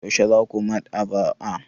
Yaushe za ku Maɗ'aba'a?